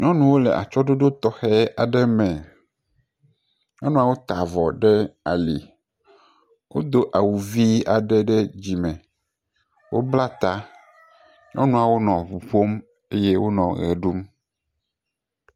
Nyɔnuwo le atye ɖoɖo tɔxɛ aɖe me. Nyɔnuawo ta avɔ ɖe ali. Wodo awu vi aɖe ɖe dzime. Wonla ta eye wonɔ ŋu ƒom henɔ ʋe ɖum